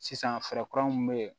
Sisan fɛɛrɛ kura mun be yen